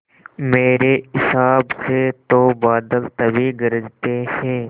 मेरे हिसाब से तो बादल तभी गरजते हैं